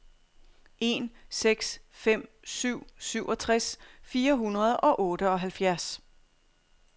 en seks fem syv syvogtres fire hundrede og otteoghalvfjerds